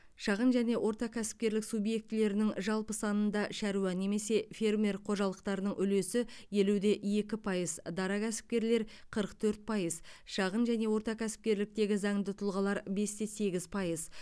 шағын және орта кәсіпкерлік субъектілерінің жалпы санында шаруа немесе фермер қожалықтарының үлесі елу де екі пайыз дара кәсіпкерлер қырық төрт пайыз шағын және орта кәсіпкерліктегі заңды тұлғалар бес те сегіз пайыз